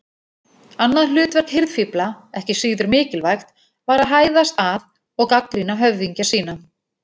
Annað hlutverk hirðfífla, ekki síður mikilvægt, var að hæðast að og gagnrýna höfðingja sína.